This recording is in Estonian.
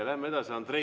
Läheme edasi!